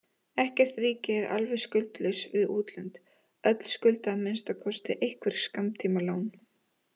Ekkert ríki er alveg skuldlaust við útlönd, öll skulda að minnsta kosti einhver skammtímalán.